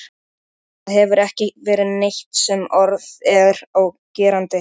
Það hefur ekki verið neitt sem orð er á gerandi.